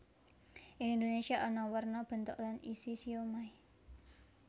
Ing Indonésia ana werna bentuk lan isi siomai